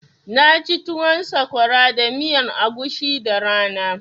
Na ci tuwon sakwara da miyan agushi da rana